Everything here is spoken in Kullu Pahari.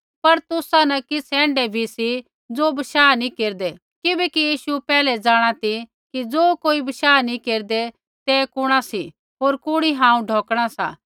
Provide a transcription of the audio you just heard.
पर तुसा न किछ़ ऐण्ढै भी सी ज़ो बशाह नी केरदै किबैकि यीशु पैहलै जाँणा ती कि ज़ो बशाह नैंई केरदै ते कुण सी होर कुणी हांऊँ ढोकणा सा